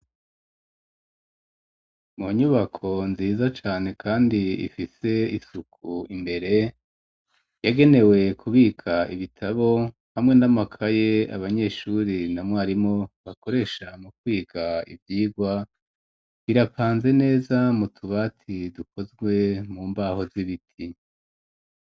Mu nyubako nziza cane, kandi ifise isuku imbere, yagenewe kubika ibitabo hamwe n'amakaye, abanyeshuri na mwarimu bakoresha mu kwiga ivyigwa, birapanze neza mu tubati dukozwe mu mbaho z'ibiti.